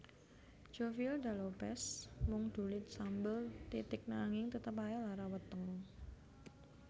Jovial da Lopez mung ndulit sambel titik nanging tetep ae lara weteng